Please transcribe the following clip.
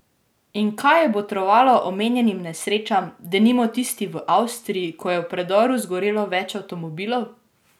In kaj je botrovalo omenjenim nesrečam, denimo tisti v Avstriji, ko je v predoru zgorelo več avtomobilov?